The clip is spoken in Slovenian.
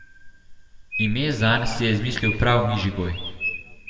Ime zanj si je izmisli prav Mižigoj.